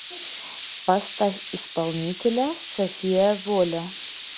поставь исполнителя софия воля